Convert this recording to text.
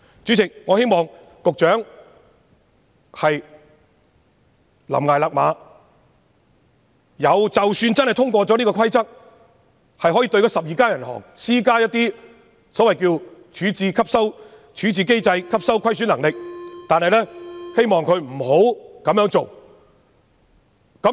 主席，我希望局長懸崖勒馬，即使有關規則獲通過，可以對12間銀行施加一些所謂處置機制、吸收虧損能力的規定，也希望政府不要這樣做。